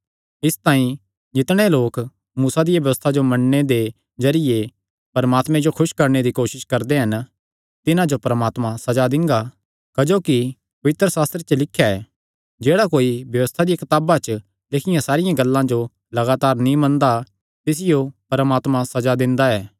इसतांई जितणे लोक मूसा दिया व्यबस्था जो मन्नणे दे जरिये परमात्मे जो खुस करणे दी कोसस करदे हन तिन्हां जो परमात्मा सज़ा दिंगा क्जोकि पवित्रशास्त्रे च लिख्या ऐ जेह्ड़ा कोई व्यबस्था दी कताबा च लिखियां सारियां गल्लां जो लगातार नीं मनदा तिसियो परमात्मा सज़ा दिंदा ऐ